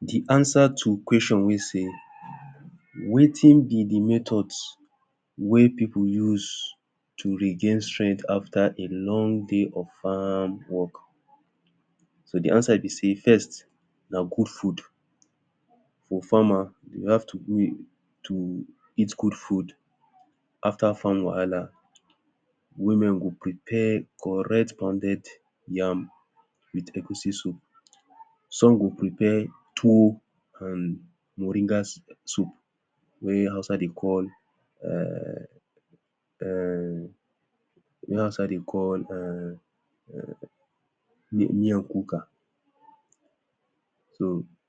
De answer to question wey say wetin be de method wey people use to regain strength after a long day of farm work? so de answer be sey, first na good food for farmer. you have to eat good food after farm. Wahala! women go prepare correct pounded yam with egusi soup. some go prepare tuwo and moringa soup wey hausa dey call um wey hausa dey call um miakuka.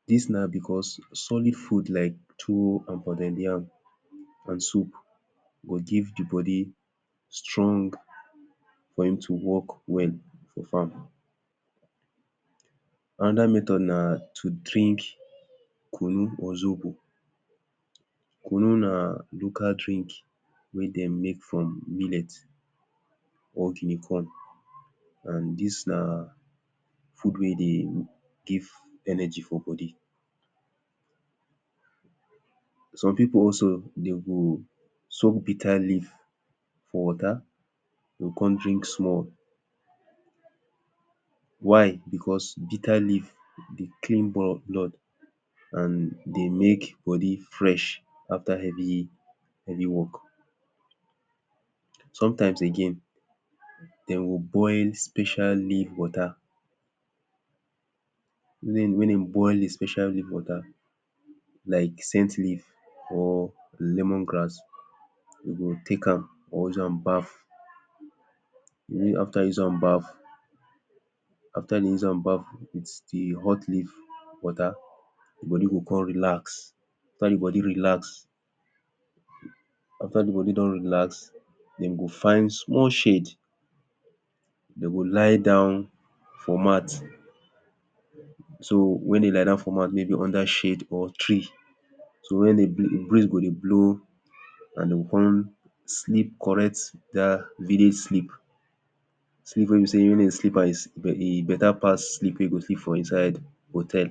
this na because solid food like tuwo and pounded yam and soup go give de body strength for im to work well for farm another method na to drink kunu or zobo. kununa na local drink wey dem make from millet or guinea corn and this na food wey dey give energy for body. some people also dem go soak bitter leaf for wata, dem go come drink am small why because bitter leaf dey clean blood and dey make body fresh after any work. sometimes again dem go boil special leaf wata then when dem boil de special leaf wata like scent leaf, or lemon grass we go take am or use am baff. after we use am baff, after dem use am baff de hot lead wata; body go come relax, after de body relax after de body don relax, dem go find small shade dem go lie down for mat. so Wen dem lie down for mat,- maybe under shade or tree so wen de breeze go dey blow and dem go come sleep correct even sleep sleep wey be sey wen dey sleep like this, e beta pass sleep wey we sleep for inside hotel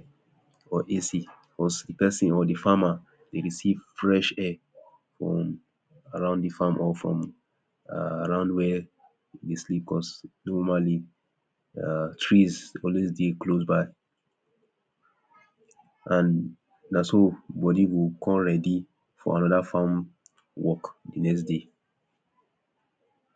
or AC or de farmer. dem receive fresh air from around de farm or from around wey dem sleep because normally trees dey always dey close by and na so body go come ready for our farm work de next day.